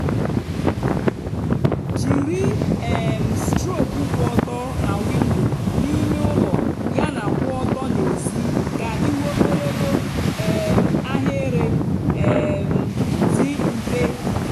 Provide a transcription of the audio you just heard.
jiri um strok kwụ ọtọ na windo n'ime ụlọ yana kwụ ọtọ n'èzí ka ịhụ ogologo um ahịrị um dị mfe.